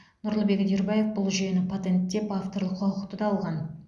нұрлыбек үдербаев бұл жүйені патенттеп авторлық құқықты да алған